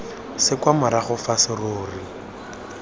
se kwa morago fa serori